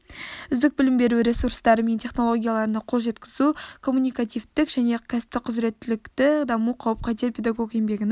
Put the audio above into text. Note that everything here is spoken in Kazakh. үздік білім беру ресурстары мен технологияларына қол жеткізу коммуникативтік және кәсіптік құзыреттілікті дамыту қауіп-қатер педагог еңбегінің